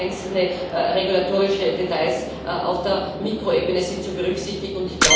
Aber auch einzelne regulatorische Details auf der Mikroebene sind zu berücksichtigen.